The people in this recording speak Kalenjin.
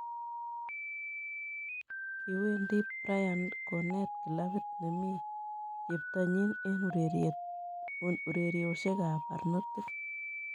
Kiwendi Bryant konet klabit nemi cheptonyi eng ureriosiekab barnotik